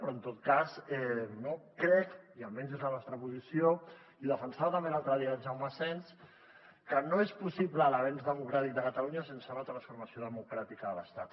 però en tot cas crec i almenys és la nostra posició i ho defensava també l’altre dia el jaume asens que no és possible l’avenç democràtic de catalunya sense una transformació democràtica de l’estat